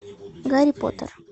гарри поттер